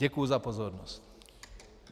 Děkuji za pozornost.